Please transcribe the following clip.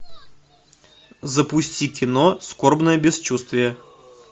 запусти кино скорбное бесчувствие